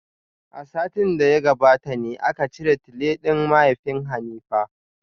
A satin da ya gabata ne aka cire tile din mahaifin Hanifa.